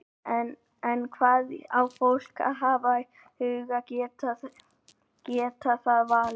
En hvað á fólk að hafa í huga geti það valið?